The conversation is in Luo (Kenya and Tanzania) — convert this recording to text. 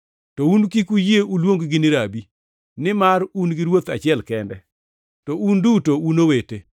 “To un kik uyie oluongu ni, ‘Rabi,’ nimar un gi Ruoth achiel kende, to un duto un owete.